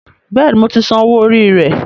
Bẹ́ẹ̀ni, mo ti san owó orí rẹ